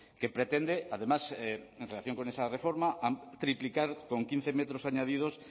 que pretende además en relación con esa reforma triplicar con quince metros añadidos